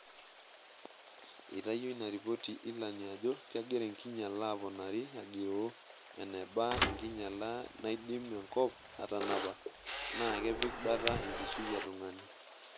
Eitayio ina ripoti ilani ajo kegira enkinyala aponari agiroo"eneba enkinyala naidim enkop atanapa"naa"kepik bata enkishui etungani".